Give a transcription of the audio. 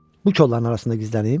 Bu kolların arasında gizlənim?